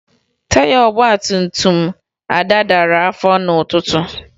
Taya ọgbantumtum Ada dara afọ n'ụtụtụ